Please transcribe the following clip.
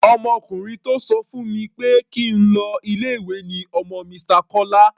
Ọmọkùnrin tó sọ fún mi pé kí n lọ ilé-ìwé ni ọmọ Mr. Kọ́lá.